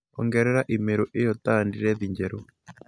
Ongerera i-mīrū iyo ta andirethi njerũ